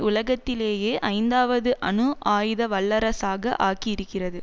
உலகத்திலேயே ஐந்தாவது அணு ஆயுத வல்லரசாக ஆக்கி இருக்கிறது